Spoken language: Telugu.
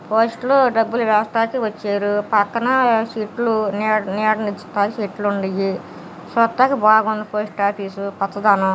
పోస్టు లో డబ్బులు వేయడానికి వచ్చారు. పక్కన చెట్లు నీడ_నీడ ఇచ్చి చెట్లు ఉండేయి . చూడ్డానికి బాగుంది పోస్ట్ ఆఫీస్ . పచ్చదానం.